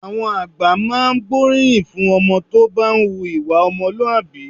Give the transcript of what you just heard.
Àwọn àgbà máa ń gbóríyìn fún ọmọ tó bá ń hu ìwà ọmọlúwàbí